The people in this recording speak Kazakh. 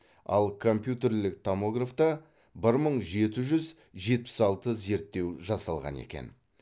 ал компьютерлік томографта бір мың жеті жүз жетпіс алты зерттеу жасалған екен